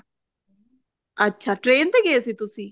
ਅੱਛਾ train ਤੇ ਗਏ ਸੀ ਤੁਸੀਂ